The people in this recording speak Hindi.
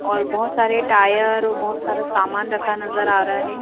और बहुत सारे टायर और बहुत सारा सामान रखा नजर आ रहा है।